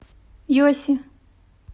йоси